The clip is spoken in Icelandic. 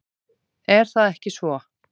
Er það ekki svo?